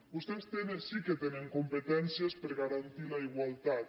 vostès sí que tenen competències per garantir la igualtat